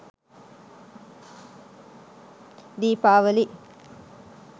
dipawali